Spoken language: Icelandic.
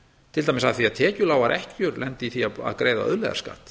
til dæmis að tekjulágar ekkjur lenda í því að greiða auðlegðarskatt